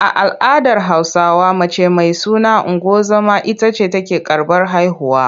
A al’adar Hausawa mace mai suna ungozoma ita ce take karɓar haihuwa.